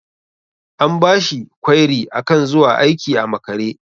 An bashi kwairi akan zuwa aiki a makare.